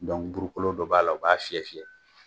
burukolo dɔ b'a la o b'a fiyɛ fiyɛ